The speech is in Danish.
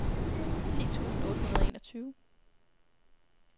ti tusind otte hundrede og enogtyve